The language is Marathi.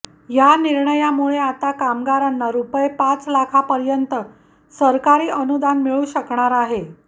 या निर्णयामुळे आता कामगारांना रुपये पाच लाखांपर्यंत सरकारी अनुदान मिळू शकणार आहे